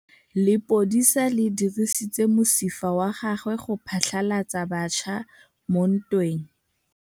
Lepodisa le dirisitse mosifa wa gagwe go phatlalatsa batšha mo ntweng.